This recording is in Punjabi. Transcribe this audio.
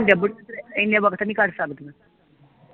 ਬਈ ਇਨੇ ਵਕਤ ਨੀ ਕਰ ਸਕਦੀਆਂ